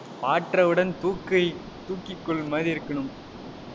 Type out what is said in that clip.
பார்த்தவுடன் தூக்கை, தூக்கிக் கொள்ளுமாறு இருக்கணும்.